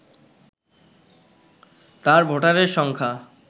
তার ভোটারের সংখ্যা